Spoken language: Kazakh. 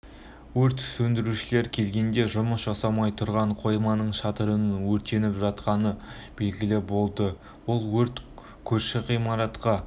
өрт сөндірушілер келгенде жұмыс жасамай тұрған қойманың шатырының өртеніп жатқаны белгілі болды ол өрт көрші ғимаратқа